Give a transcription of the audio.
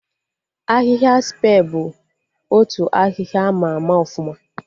Ahịhịa Spe bụ otu ahịhịa ama ama ọfụma